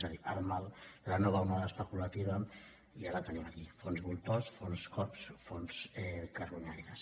és a dir el mal la nova onada especulativa ja la tenim aquí fons voltors fons cops fons carronyaires